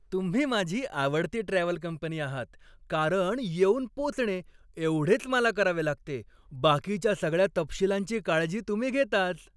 तुम्ही माझी आवडती ट्रॅव्हल कंपनी आहात कारण येऊन पोचणे एवढेच मला करावे लागते. बाकीच्या सगळ्या तपशिलांची काळजी तुम्ही घेताच.